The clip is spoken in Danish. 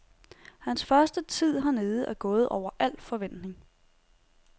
Hans første tid hernede er gået over alt forventning.